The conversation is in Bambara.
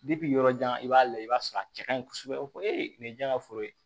yɔrɔ jan i b'a lajɛ i b'a sɔrɔ a cɛ kaɲi kosɛbɛ o ko nin ye jaa ka foro ye